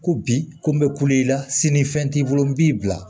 Ko bi ko n bɛ kulo la sini fɛn t'i bolo n b'i bila